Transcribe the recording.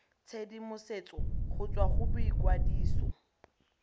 tshedimosetso go tswa go boikwadiso